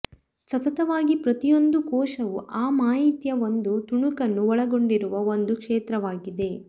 ಸತತವಾಗಿ ಪ್ರತಿಯೊಂದು ಕೋಶವೂ ಆ ಮಾಹಿತಿಯ ಒಂದು ತುಣುಕನ್ನು ಒಳಗೊಂಡಿರುವ ಒಂದು ಕ್ಷೇತ್ರವಾಗಿದೆ